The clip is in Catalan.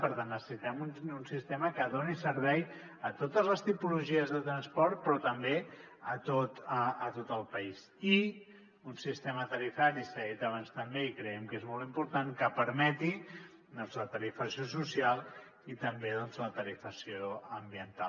per tant necessitem un sistema que doni servei a totes les tipologies de transport però també a tot el país i un sistema tarifari s’ha dit abans també i creiem que és molt important que permeti doncs la tarifació social i també doncs la tarifació ambiental